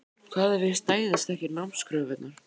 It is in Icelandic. Hvað ef ég stæðist ekki námskröfurnar?